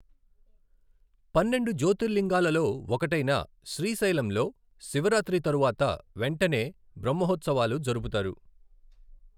పన్నెండు జ్యోతిర్లింగాలలో ఒకటైన శ్రీశైలంలో శివరాత్రి తరువాత వెంటనే బ్రహ్మోత్సవాలు జరుపుతారు.